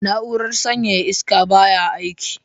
Na'urar sanyaya iska baya aiki.